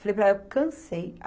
Falei para ela, cansei.